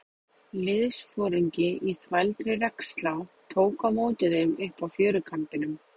Liðsforingi í þvældri regnslá tók á móti þeim uppi á fjörukambinum.